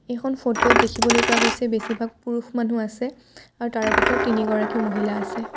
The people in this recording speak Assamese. এইখন ফটো ত দেখিবলৈ পোৱা গৈছে বেছিভাগ পুৰুষ মানুহ আছে আৰু তাৰে ভিতৰত তিনি গৰাকী মহিলা আছে।